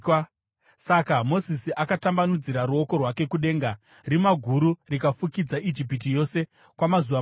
Saka Mozisi akatambanudzira ruoko rwake kudenga, rima guru rikafukidza Ijipiti yose kwamazuva matatu.